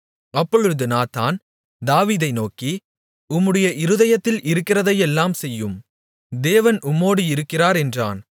அப்பொழுது நாத்தான் தாவீதை நோக்கி உம்முடைய இருதயத்தில் இருக்கிறதையெல்லாம் செய்யும் தேவன் உம்மோடு இருக்கிறார் என்றான்